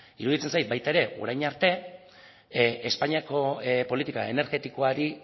iruditzen zait baita ere orain arte espainiako politika energetikoari